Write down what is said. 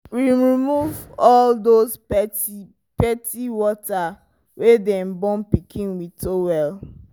we remove all those petepete water wey dey the born pikin with towel